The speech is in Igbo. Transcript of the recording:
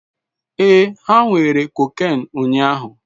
Ee, ha were cocaine ụnyahụ